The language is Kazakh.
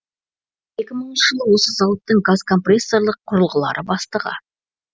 екі мыңыншы жылы осы зауыттың газкомпрессорлық құрылғылары бастығы